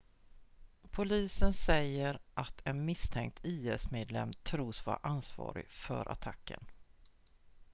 polisen säger att en misstänkt is-medlem tros vara ansvarig för attacken